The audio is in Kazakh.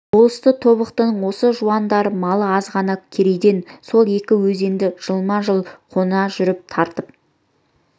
болысты тобықтының осы жуандары малы аз ғана керейден сол екі өзенді жылма-жыл қона жүріп тартып